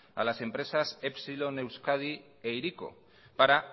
a las empresas epsilon euskadi e hiriko para